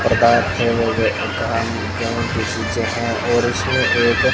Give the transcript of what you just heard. इसी जगह और उसे एक--